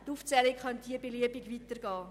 Die Aufzählung könnte hier beliebig weitergehen.